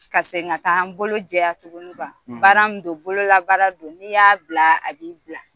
Ka segin ka taa an bolo jɛya tuguni baara min don n'i y'a bila a b'i bila